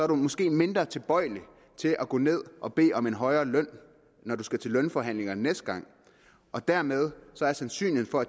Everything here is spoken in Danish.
man måske mindre tilbøjelig til at gå ned og bede om en højere løn når man skal til lønforhandlinger næste gang og dermed er sandsynligheden for at